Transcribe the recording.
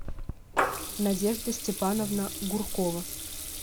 надежда степановна гуркова